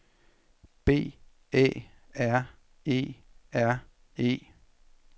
B Æ R E R E